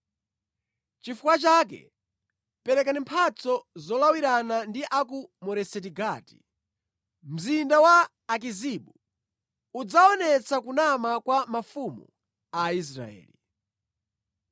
Chifukwa chake perekani mphatso zolawirana ndi a ku Moreseti Gati. Mzinda wa Akizibu udzaonetsa kunama kwa mafumu a Israeli.